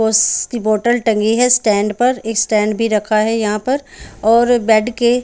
उस की बोटल टंगी है स्टैंड पर स्टैंड भी रखा है यहाँ पर और बैठ के--